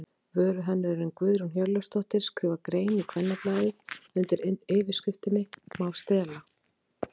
Vöruhönnuðurinn Guðrún Hjörleifsdóttir skrifar grein í Kvennablaðið undir yfirskriftinni Má stela?